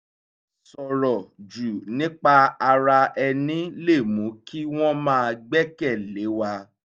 sọ̀rọ̀ jù nípa ara ẹni lè mú ki wọn má gbẹ́kẹ̀lé wa